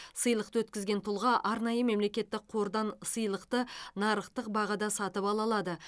сыйлықты өткізген тұлға арнайы мемлекеттік қордан сыйлықты нарықтық бағада сатып ала алады